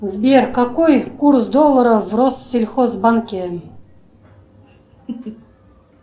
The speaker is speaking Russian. сбер какой курс доллара в россельхозбанке